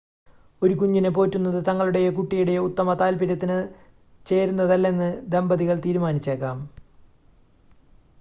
ഒരു കുഞ്ഞിനെ പോറ്റുന്നത് തങ്ങളുടെയോ കുട്ടിയുടെയോ ഉത്തമ താൽപ്പര്യത്തിന് ചേരുന്നതല്ലെന്ന് ദമ്പതികൾ തീരുമാനിച്ചേക്കാം